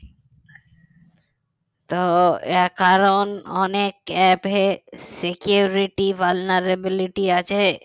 তো এ কারণে অনেক app এ security vulnerabilities আছে